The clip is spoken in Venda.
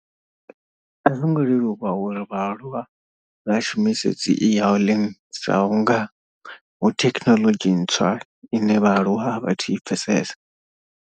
A zwo ngo leluwa uri vhaaluwa vha shumise dzi e hailing sa vhunga hu thekhinoḽodzhi ntswa ine vhaaluwa a vhathu i pfhesesa.